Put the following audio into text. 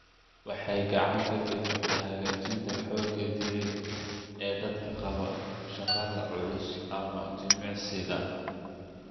Waxay gacan ka geysataa hagaajinta xoogga jireed ee dadka qaba shaqada culus ama jimicsiga.